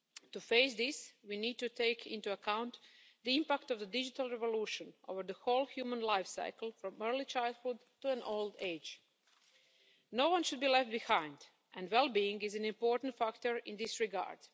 To face this, we need to take into account the impact of the digital revolution over the whole human life cycle, from early childhood to old age. No one should be left behind, and well being is an important factor in this regard.